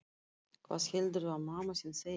Hvað heldurðu að mamma þín segi?